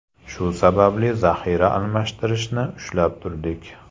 Shu sababli zaxira almashtirishni ushlab turdik.